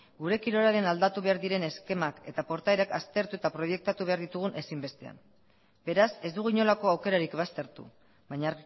gure kirolaren aldatu behar diren eskemak eta portaerak aztertu eta proiektatu behar ditugu ezinbestean beraz ez dugu inolako aukerarik baztertu baina